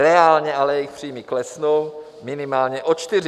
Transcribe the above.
Reálně ale jejich příjmy klesnou minimálně o čtyři.